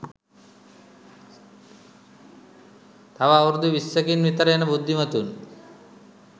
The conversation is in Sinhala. තව අවුරුදු විස්සකින් විතර එන බුද්ධිමතුන්